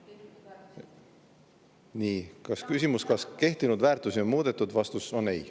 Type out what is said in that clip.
Nii, küsimus, kas kehtinud väärtusi on muudetud – vastus on ei.